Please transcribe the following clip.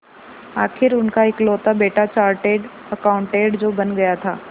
आखिर उनका इकलौता बेटा चार्टेड अकाउंटेंट जो बन गया था